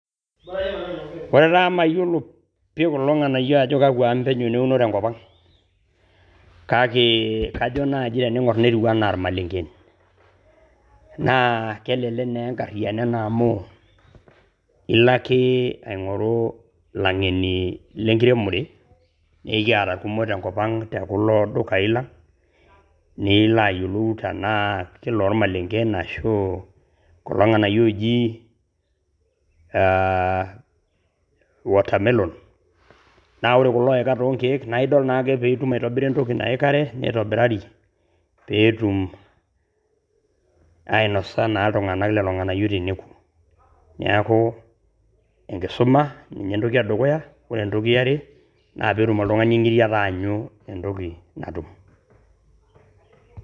Ore taa amu mayiolo pii kulo ng`anayio ajo kakwa amu penyo neuno tenkop ang, kake kajo naaji tenaing`or netiu enaa ilmalenken. Naa kelekek naa enkariyiano ena amu ilo ake aing`oru ilang`eni le nkiremore naa ekiata ilkumok tenkop ang te kulo dukai lang. Niiilo ayiolou tenaa kolmalenken enaa kekulo ng`anayio ooji aah [cs watermelon. Naa ore kulo oika too nkiek naa idol naake pee itum aitobira entoki nayikare neitobirari pee etum ainosa naa iltung`ank lelo ng`aayio teneku. Niaku enkisuma ninye entoki e dukuya, ore entoki e are naa pee etum oltung`ani eng`iriata aanyu entoki natum.